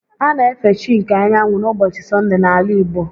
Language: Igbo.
A na efe chi nke anyanwụ n'ụbọchị Sọndee n'ala igbo